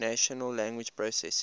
natural language processing